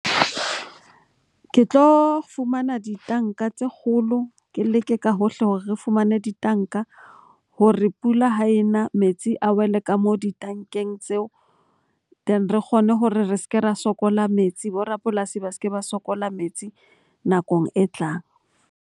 Ke tlo fumana ditanka tse kgolo, ke leke ka hohle hore re fumane ditanka hore pula ha e na metsi a wele ka mo ditankeng tseo. Then, re kgone hore re se ke ra sokola metsi. Bo rapolasi ba se ke ba sokola metsi nakong e tlang.